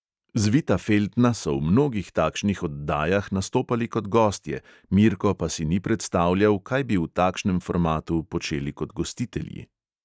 Zvita feltna so v mnogih takšnih oddajah nastopali kot gostje, mirko pa si ni predstavljal, kaj bi v takšnem formatu počeli kot gostitelji.